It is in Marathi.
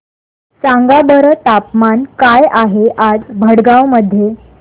सांगा बरं तापमान काय आहे आज भडगांव मध्ये